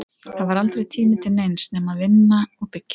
Það var aldrei tími til neins nema að vinna og byggja.